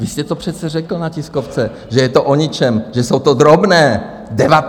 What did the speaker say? Vy jste to přece řekl na tiskovce, že je to o ničem, že jsou to drobné, 19 miliard.